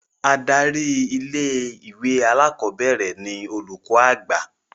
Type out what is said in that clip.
Adarí ilé-ìwé alákọ̀ọ́bẹ̀rẹ̀ ni Olùkọ́ Àgbà